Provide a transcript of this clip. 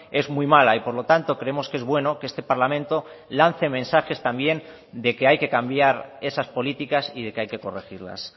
es muy mala y por lo tanto creemos que es bueno que este parlamento lance mensajes también de que hay que cambiar esas políticas y de que hay que corregirlas